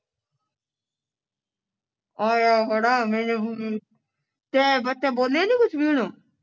ਆਇਆ ਖੜਾ ਮੇਰੇ ਮੂੰਹ ਨੂੰ ਤੈ ਬੱਚਾ ਬੋਲਿਆ ਨਹੀਂ ਕੁੱਝ ਵੀ ਉਹਨੂੰ